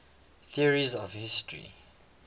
theories of history